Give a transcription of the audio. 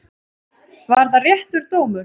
Var það réttur dómur?